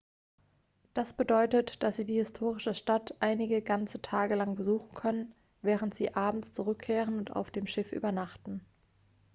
das bedeutet dass sie die historische stadt einige ganze tage lang besuchen können während sie abends zurückkehren und auf dem schiff übernachten